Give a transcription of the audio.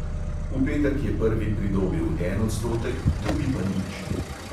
V petek je prvi pridobil en odstotek, drugi pa nič.